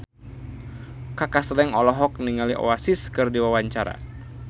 Kaka Slank olohok ningali Oasis keur diwawancara